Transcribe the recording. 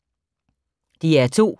DR2